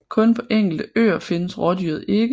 Kun på enkelte øer findes rådyret ikke